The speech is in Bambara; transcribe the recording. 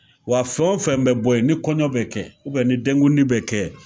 Wa fɛn o fɛn bɛ bɔ yen ni kɔɲɔ bɛ kɛ ni denkundi bɛ kɛ